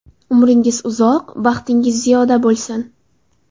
Umringiz uzoq, baxtingiz ziyoda bo‘lsin!